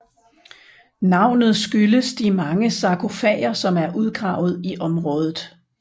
Navnet skyldes de mange sargofager som er udgravet i området